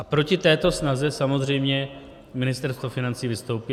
A proti této snaze samozřejmě Ministerstvo financí vystoupí.